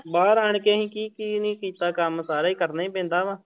ਬਾਹਰ ਆਣ ਕੇ ਅਸੀਂ ਕੀ ਕੀ ਨੀ ਕੀਤਾ ਕੰਮ ਸਾਰਾ ਹੀ ਕਰਨਾ ਹੀ ਪੈਂਦਾ ਵਾ।